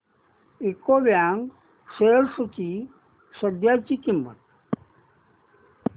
UCO bank shares ची सध्याची किंमत